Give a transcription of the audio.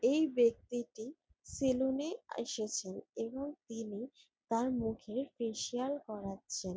এই ব্যক্তিটি সেলুন -এ এসেছেন এবং তিনি তার মুখে ফেসিয়াল করাচ্ছেন।